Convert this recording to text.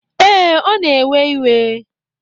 Ee, ọ na-ewe iwe.